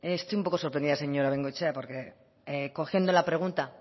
estoy un poco sorprendida señora bengoechea porque cogiendo la pregunta